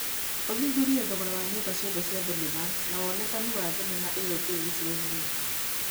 ũthuthurie thogora wa nyũmba ciothe cia thenema na wonekanu wa thenema ĩyo njerũ gĩcigo-inĩ gĩakwa